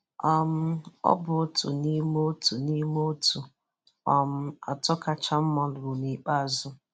um ọ bụ otu n'ime otu n'ime otu um atọ kachasị mma ruru n'ikpeazụ.